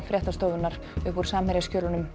fréttastofunnar upp úr